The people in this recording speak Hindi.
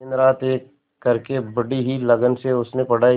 दिनरात एक करके बड़ी ही लगन से उसने पढ़ाई की